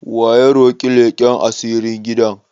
Waya ta roki leƙan asiri gidan?